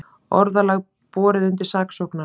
Orðalag borið undir saksóknara